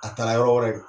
A taara yɔrɔ wɛrɛ